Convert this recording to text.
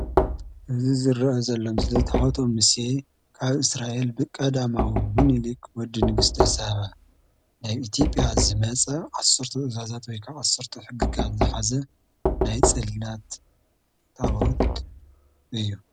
እዚ ዝረአ ዘሎ ምስሊ ታቦተ ሙሴ ኣብ እስራኤል ብቀደማዊ ምልሊክ ወዲ ንግስተ ሳብ ናይ ኢትዮጲያ ዝመፀ ዓሰርተ ትእዛዛት ወይ ከዓ ዓሰርተ ሕግጋት ዝሓዘ ናይ ፅላት ታቦት እዩ ።